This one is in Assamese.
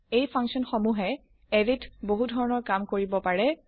এই ফাংচন সমূহে এৰে ত বহু ধৰণৰ কাম কৰিব পাৰে